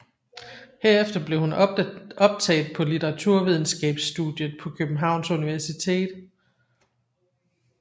Herefter blev hun optaget på litteraturvidenskabsstudiet på Københavns Universitet